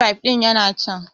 Mit fif ɗin yana can